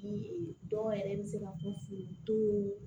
dɔw yɛrɛ bɛ se ka kun furu